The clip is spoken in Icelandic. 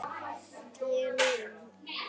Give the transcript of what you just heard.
Ég er miður mín.